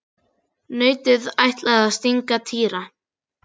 Nautið ætlaði að stanga Týra.